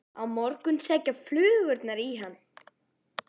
Á morgun sækja flugurnar í hann.